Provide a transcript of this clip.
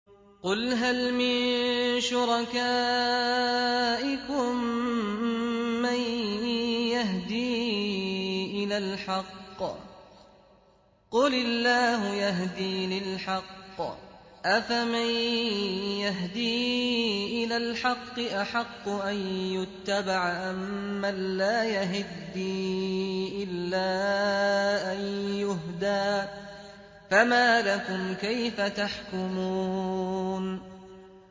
قُلْ هَلْ مِن شُرَكَائِكُم مَّن يَهْدِي إِلَى الْحَقِّ ۚ قُلِ اللَّهُ يَهْدِي لِلْحَقِّ ۗ أَفَمَن يَهْدِي إِلَى الْحَقِّ أَحَقُّ أَن يُتَّبَعَ أَمَّن لَّا يَهِدِّي إِلَّا أَن يُهْدَىٰ ۖ فَمَا لَكُمْ كَيْفَ تَحْكُمُونَ